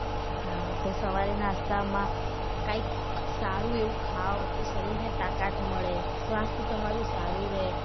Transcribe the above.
હા તો સવારે નાસ્તા માં કાંઈક સારું એવું ખાઓ તો શરીર ને તાકાત મળે સ્વાસ્થ તમારું સારું રહે.